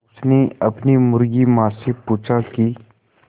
उसने अपनी मुर्गी माँ से पूछा की